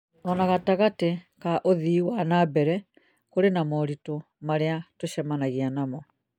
o na gatagatĩ ka ũthii wa na mbere, kũrĩ na moritũ marĩa tũcemanagia namo